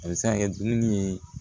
A bɛ se ka kɛ dumuni ye